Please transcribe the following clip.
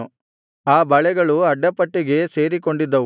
ಆ ಬಳೆಗಳು ಅಡ್ಡಪಟ್ಟಿಗೆ ಸೇರಿಕೊಂಡಿದ್ದವು